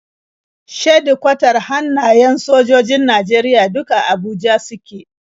Shedikwatar hannayen sojojojin Najeriya duk a Abuja suke.